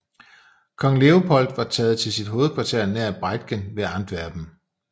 Kong Leopold var taget til sit hovedkvarter nær Briedgen ved Antwerpen